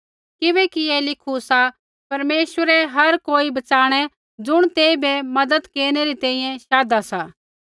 किबैकि ऐ लिखू सा परमेश्वरै हर कोई बच़ाणै ज़ुण तेइबै मज़त केरनै री तैंईंयैं शाधा सा